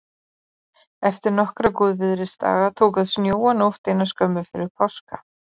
Eftir nokkra góðviðrisdaga tók að snjóa nótt eina skömmu fyrir páska.